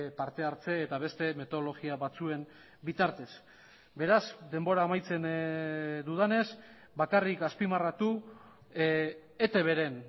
parte hartze eta beste metodologia batzuen bitartez beraz denbora amaitzen dudanez bakarrik azpimarratu etbren